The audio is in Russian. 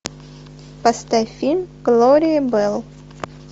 поставь фильм глория белл